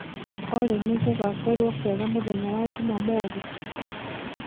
olly nigugakorwo kwega mũthenya wa jũmamothĩ